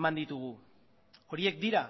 eman ditugu horiek dira